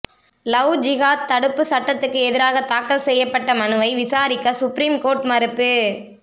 love ஜிகாத் தடுப்பு சட்டத்துக்கு எதிராக தாக்கல் செய்யப்பட்ட மனுவை விசாரிக்க சுப்ரீம்கோர்ட் மறுப்பு